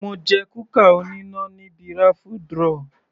Mo jẹ kúkà oníná níbi raffle draw.